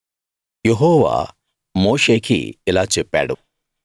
యెహోవా మోషేకి ఇలా చెప్పాడు